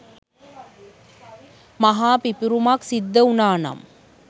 මහා පිපිරුමක් සිද්ධ වුණානම්